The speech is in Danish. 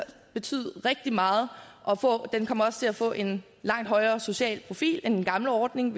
betyde rigtig meget og den kommer også til at få en langt højere social profil end den gamle ordning